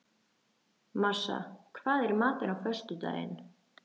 Marsa, hvað er í matinn á föstudaginn?